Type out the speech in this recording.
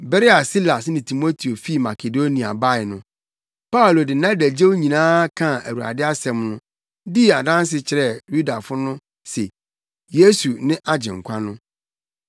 Bere a Silas ne Timoteo fii Makedonia bae no, Paulo de nʼadagyew nyinaa kaa Awurade asɛm no, dii adanse kyerɛɛ Yudafo no se Yesu ne Agyenkwa no.